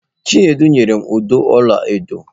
Chinedu nyere m ụdọ ọla edo.